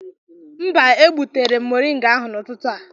Mba, egbutere m moringa ahu n'ụtụtụ a.